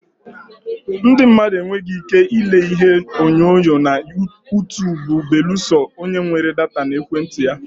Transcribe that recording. Ndị mmadụ enweghị ike ile Ihe onyonyo na Utuubu belụsọ o nwere data na ekwentị ya.